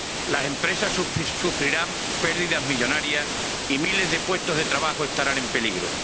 las empresas sufrirán pérdidas millonarias y miles de puestos de trabajo estarán en peligro.